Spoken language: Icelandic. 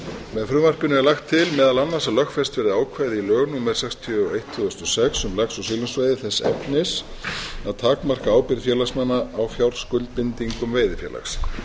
með frumvarpinu er lagt til meðal annars að lögfest verði ákvæði í lög númer sextíu og eitt tvö þúsund og sex um lax og silungsveiði þess efnis að takmarka ábyrgð félagsmanna á fjárskuldbindingum veiðifélags